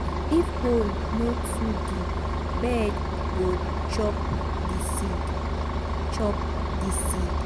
if hole no too deep bird go chop di seed chop di seed.